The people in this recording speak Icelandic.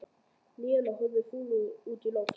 Nína horfði fúl út í loftið.